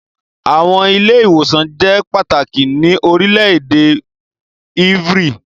Awọn ile-iwosan jẹ pataki ni orilẹ-ede evry